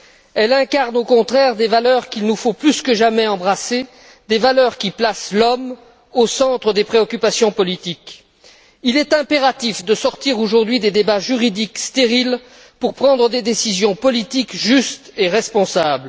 Elle incarne au contraire des valeurs qu'il nous faut, plus que jamais, embrasser, des valeurs qui placent l'homme au centre des préoccupations politiques. Il est impératif de sortir, aujourd'hui, des débats juridiques stériles, pour prendre des décisions politiques justes et responsables.